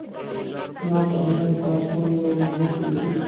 ना कहने का सुन लो मुहूर्त यही